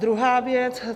Druhá věc.